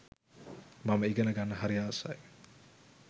මම ඉගෙනගන්න හරි ආසයි.